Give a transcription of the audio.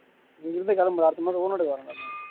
இங்கிருந்து கிளம்புரேன் அடுத்த மாசம்